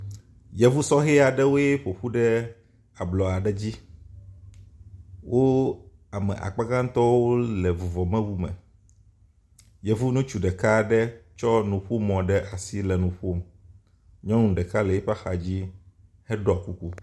Yevusɔhɛ aɖewoe ƒoƒu ɖe ablɔ aɖe dzi wo ame akpa gãtɔwo le vuvɔmewu me. Yevu ŋutsu ɖeka aɖe tsɔ nuƒomɔ ɖe asi le nuƒom, nyɔnu ɖeka le yiƒe axadzi heɖɔ kuku.